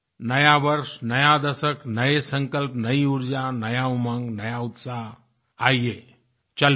नया वर्ष नया दशक नये संकल्प नयी ऊर्जा नया उमंग नया उत्साह आइये चल पड़ें